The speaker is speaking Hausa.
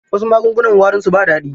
Wasu magungunan warinsu ba daɗi.